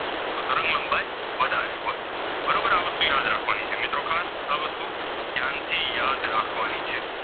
રાખવાની છે મિત્રો ખાસ આ વસ્તુ ધ્યાનથી યાદ રાખવાની છે.